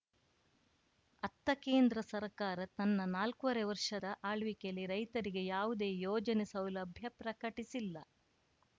ಅತ್ತ ಕೇಂದ್ರ ಸರ್ಕಾರ ತನ್ನ ನಾಲ್ಕೂವರೆ ವರ್ಷದ ಆಳ್ವಿಕೆಯಲ್ಲಿ ರೈತರಿಗೆ ಯಾವುದೇ ಯೋಜನೆ ಸೌಲಭ್ಯ ಪ್ರಕಟಿಸಿಲ್ಲ